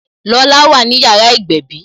Lola wà ní yàrá ìgbẹ̀bí